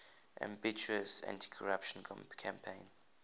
ambitious anticorruption campaign